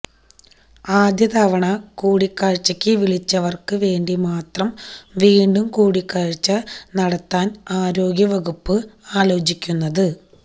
ആദ്യ തവണ കൂടിക്കാഴ്ചക്ക് വിളിച്ചവര്ക്ക് വേണ്ടി മാത്രം വീണ്ടും കൂടിക്കാഴ്ച നടത്താന് ആരോഗ്യവകുപ്പ് ആലോചിക്കുന്നത്